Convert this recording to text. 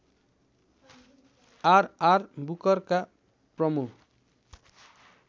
RR बुकरका प्रमु